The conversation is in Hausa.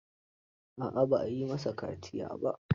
A'a ba a yi masa kaciya ba.